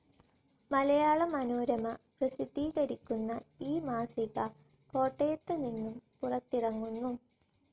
മലയാള മനോരമ പ്രസിദ്ധീകരിക്കുന്ന ഈ മാസിക കോട്ടയത്ത് നിന്നും പുറത്തിറങ്ങുന്നു.